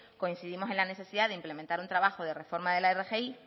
coincidimos en la necesidad de implementar un trabajo de reforma de la rgi